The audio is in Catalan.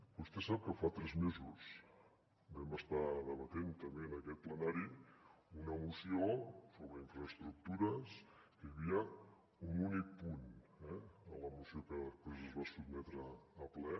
vostè sap que fa tres mesos vam estar debatent també en aquest plenari una moció sobre infraestructures que hi havia un únic punt eh a la moció que després es va sotmetre a ple